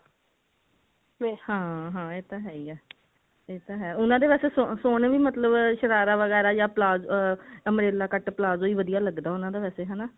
ਹਾਂ ਹਾਂ ਇਹ ਤਾਂ ਹੈ ਹੀ ਹੈ ਇਹ ਤਾਂ ਹੈ ਉਹਨਾਂ ਦੇ ਵੈਸੇ ਸੋਹਣੇ ਵੀ ਮਤਲਬ ਸ਼ਰਾਰਾ ਵਗੇਰਾ ਜਾ umbrella cut palazzo ਹੀ ਵਧੀਆਂ ਲੱਗਦਾ ਉਹਨਾ ਦਾ ਵੈਸੇ